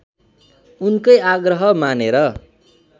उनकै आग्रह मानेर